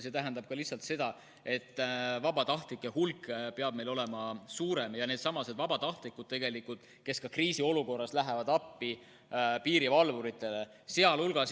See tähendab ka lihtsalt seda, et vabatahtlike hulk peab meil olema suurem ja seal hulgas on vabatahtlikud, kes kriisiolukorras lähevad appi piirivalvuritele.